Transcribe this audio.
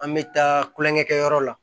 An bɛ taa kulonkɛ kɛ yɔrɔ la